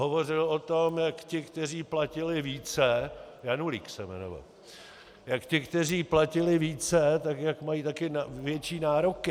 Hovořil o tom, jak ti, kteří platili více - Janulík se jmenoval - jak ti, kteří platili více, tak jak mají taky větší nároky.